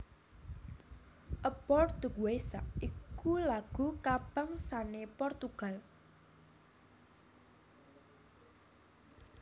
A Portuguesa iku lagu kabangsané Portugal